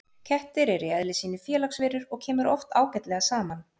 Kettir eru í eðli sínu félagsverur og kemur oft ágætlega saman.